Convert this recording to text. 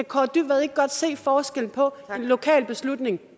kaare dybvad ikke godt se forskellen på en lokal beslutning